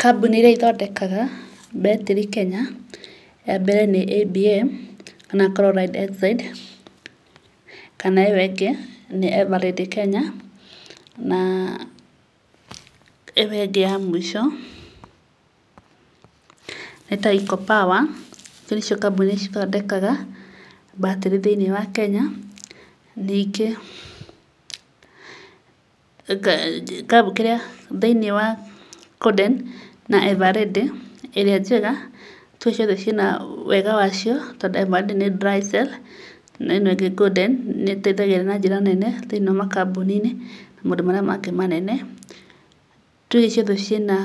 Kambũni iria ithondekaga batarĩ Kenya, ya mbere nĩ ABM kana Chloride Oxide kana ĩyo ĩngĩ nĩ Eveready Kenya, naa ĩyo ĩngĩ ya mũico nĩ Taico Power, icio nĩcio kambũni cithondekaga batarĩ thĩiniĩ wa Kenya. Ningĩ thĩiniĩ wa Golden na Eveready, ĩrĩa njega, nĩtũĩ ciothe ciĩna wega wacio tondũ Eveready nĩ dry cell na ĩno ĩngĩ Golden, nĩĩteithagia na njĩra nene thĩiniĩ wa makambũni-inĩ na maũndũ marĩa mangĩ manene. Tuge ciothe ciĩna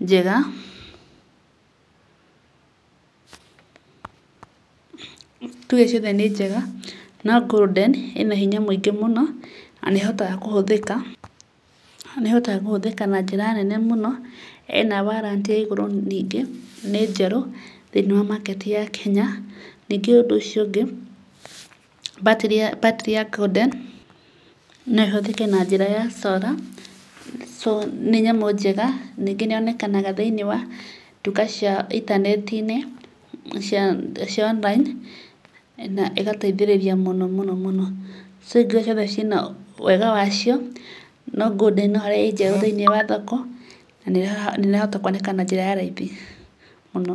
njega, tuge ciothe nĩ njega, no Golden ĩna hinya mũingĩ mũno na nĩĩhotaga kũhũthĩka, nĩĩhotaga kũhũthĩka na njĩra nene mũno, ĩna warranty ya igũrũ ningĩ, nĩ njerũ thĩiniĩ wa market ya Kenya. Ningĩ ũndũ ũcio ũngĩ, batarĩ ya batarĩ ya Golden no ĩhũtĩke na njĩra ya solar, so nĩ nyamũ njega, ningĩ nĩyonekanaga thĩiniĩ wa nduka cia intaneti-inĩ cia cia online na ĩgateihĩrĩria mũno mũno mũno so icio ingĩ ciĩna wega wacio, no Golden no harĩa ĩ njerũ thĩiniĩ wa thoko, na nĩĩrahota kuoneka na njĩra ya raithi mũno.